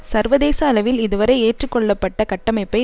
சர்வதேச அளவில் இதுவரை ஏற்று கொள்ளப்பட்ட கட்டமைப்பை